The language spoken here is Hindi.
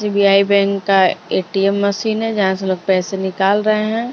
एस-बी-आई बैंक का ए-टी-एम मशीन है जहां से लोग पैसे निकाल रहे हैं।